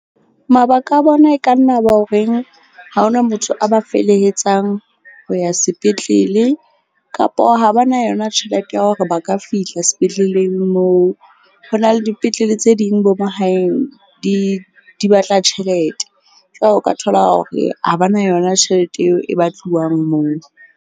Mabaka a bona e ka nna ba horeng ha ho na motho a ba felehetsang ho ya sepetlele kapo ha ba na yona tjhelete ya hore ba ka fihla sepetleleng moo. Ho na le dipetlele tse ding bo mahaeng di batla tjhelete o ka thola hore ha ba na yona tjhelete eo e batluwang moo.